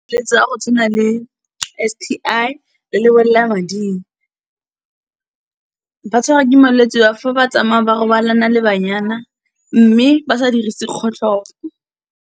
ya go tshwana le S_T_I, le lebolelamading. Ba tshwarwa ke malwetsi ao ga ba tsamaya ba robalana le banyana, mme ba sa dirisi kgotlhopo.